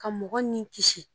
Ka mɔgɔ ni kisi